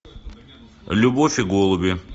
любовь и голуби